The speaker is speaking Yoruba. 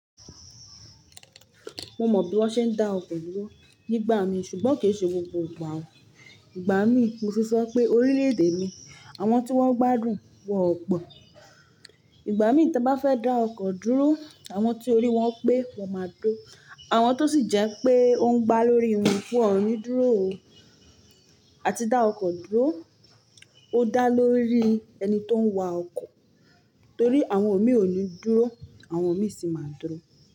Mo mọ bí wọ́n ṣe ń dá ọkọ̀ dúró nígbà mí ṣùgbọ́n kò ṣe gbogbo ìgbà o. Ìgbà mí mo fi sọ pé orílè èdè mi àwọn tí wọ́n gbádùn wọn o po, ìgbà mí tí mo bá fẹ́ dá ọkọ̀ dúró àwọn tó rí wọ́n pé wọ́n máa dúró àwọn tó sì jẹ́ pé ó ń gba lórí wọn fún ọ̀ọ̀ni dúró o. A ti dá ọkọ̀ dúró ó dá lórí ẹni tó ń wa ọkọ̀ torí àwọn mi ò ní dúró àwọn mi sì máa dúró.